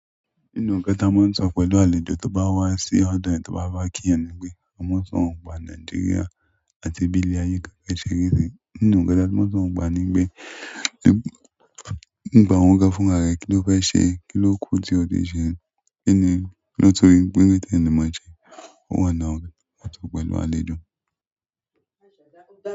Nínú ǹkan tí a ń sọ pẹ̀lú àlejò tó bá wá sí ọ̀dọ̀ ẹni tó bá wáa kí yàn ni pé, "wọ́n má ń sọ̀rọ̀ ń pa Nàìjíríà àti bí ilé ayé gangan ṣerí gan." Nínú ǹkan tí a tún mọ́ ń sọ̀rọ̀ nípa rẹ̀ ni pé, "Nípa ohun gan fúnra rẹ, kí ló fẹ́ ṣe? Kí ló kù tí o lè ṣe? Kí ni, kí ló tó rí wípé tí ẹni mọ̀ọ́ jẹ." Ó wà lọ́hùn tí wọ́n ń sọ pẹ̀lú àlejò.